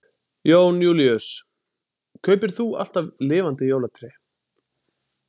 Jón Júlíus: Kaupir þú alltaf lifandi jólatré?